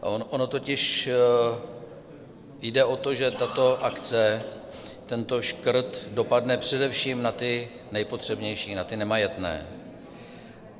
Ono totiž jde o to, že tato akce, tento škrt, dopadne především na ty nejpotřebnější, na ty nemajetné.